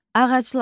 Ağaclar.